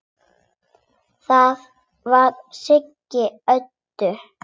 Það var Siggi Öddu.